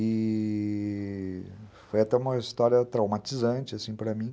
E foi até uma história traumatizante, assim, para mim.